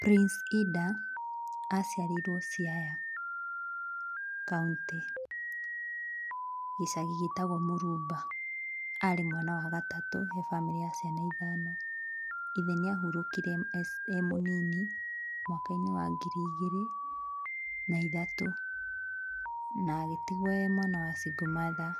Prince Inda aciarĩirwo Siaya kauntĩ gĩcagi gĩtagwo mũrumba, arĩ mwana wa gatatũ he bamĩrĩ ya ciana ithano, ithe nĩ ahurũkire ee mũnini mwaka-inĩ wa ngiri igĩrĩ na ithatũ, na agĩtigwo ee mwana wa single mother